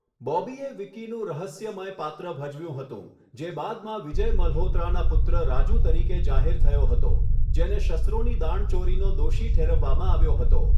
બોબીએ વિકીનું રહસ્યમય પાત્ર ભજવ્યું હતું, જે બાદમાં વિજય મલ્હોત્રાના પુત્ર રાજુ તરીકે જાહેર થયો હતો, જેને શસ્ત્રોની દાણચોરીનો દોષી ઠેરવવામાં આવ્યો હતો.